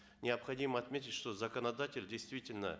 необходимо отметить что законодатель действительно